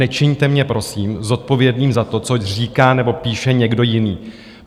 Nečiňte mě, prosím, zodpovědným za to, co říká nebo píše někdo jiný.